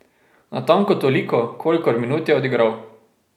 Natanko toliko, kolikor minut je odigral.